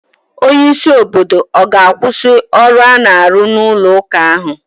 Onye isi obodo ọ ga-akwụsị ọrụ a na-arụ n'ụlọ ụka ahụ?